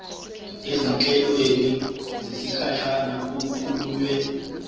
ezinhlelweni zesikhashana okukhulunywe